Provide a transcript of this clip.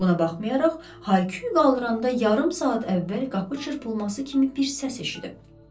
Buna baxmayaraq, Hayqyu qaldıranda yarım saat əvvəl qapı çırpılması kimi bir səs eşidib.